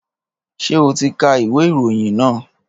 Ṣé o ti ka ìwé ìròyìn náà?